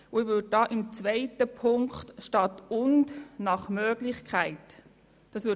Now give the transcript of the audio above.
Ich würde somit unter Ziffer 2 statt «und» «nach Möglichkeit» schreiben.